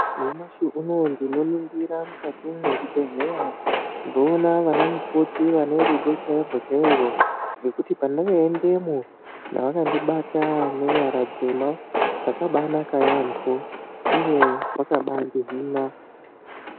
Nyamashi unowu tinoningira mukati mezvibhedhlera kuona ana mukoti ane rudo chairwo chairwo nekuti oandinoendamo vanitibata nezvara dzakanaka yambo uye vakandihina.